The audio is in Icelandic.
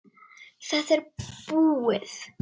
Þetta er búið.